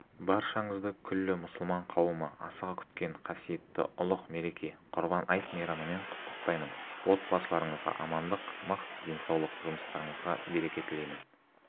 баршаңызды күллі мұсылман қауымы асыға күткен қасиетті ұлық мереке құрбан айт мейрамымен құттықтаймын отбасыларыңызға амандық мықты денсаулық жұмыстарыңызға береке тілеймін